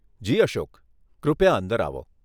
જી અશોક, કૃપયા અંદર આવો.